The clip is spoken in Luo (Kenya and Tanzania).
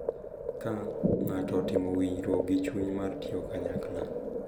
Ka ng’ato otimo winjruok gi chuny mar tiyo kanyakla,